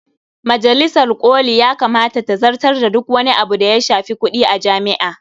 Majalisar ƙoli ya kamata ta zartar da duk wani abu da ya shafi kuɗi a jami'a.